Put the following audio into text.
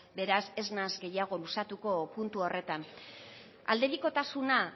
beraz ez naiz gehiago luzatuko puntu horretan aldebikotasuna